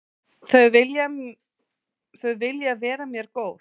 Þau vilja vera mér góð.